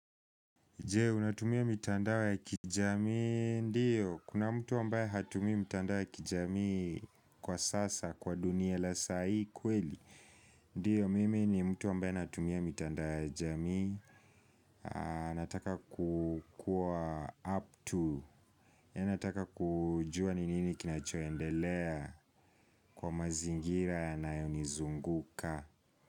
Je, unatumia mitandao ya kijamii, ndiyo. Kuna mtu ambaye hatumii mitandao ya kijamii kwa sasa, kwa dunia la sai kweli. Ndiyo, mimi ni mtu ambaye natumia mitandao ya jamii. Nataka kukuwa up to. Nataka kujua ni nini kinachoendelea kwa mazingira yanayonizunguka.